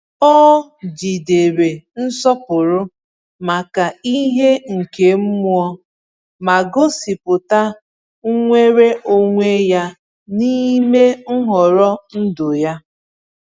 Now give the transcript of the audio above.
Ọ jigidere nsọpụrụ maka ihe nke mmụọ, ma gosipụta nnwere onwe ya n’ime nhọrọ ndụ ya.